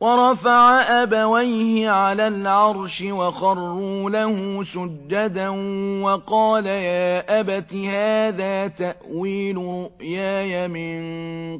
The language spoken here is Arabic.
وَرَفَعَ أَبَوَيْهِ عَلَى الْعَرْشِ وَخَرُّوا لَهُ سُجَّدًا ۖ وَقَالَ يَا أَبَتِ هَٰذَا تَأْوِيلُ رُؤْيَايَ مِن